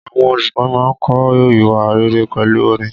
Àwọn olùkọ́ máa ń kọ́ ìwà rere pẹ̀lú orin.